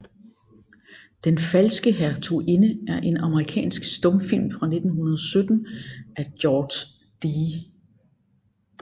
Den falske Hertuginde er en amerikansk stumfilm fra 1917 af George D